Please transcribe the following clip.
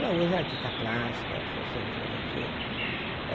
Ela hoje é artista plástica, professora de filosofia.